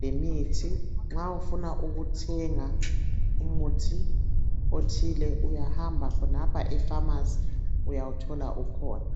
lemithi .Nxa ufuna ukuthenga umuthi othile uyahamba khonapha epharmacy uyawuthola ukhona .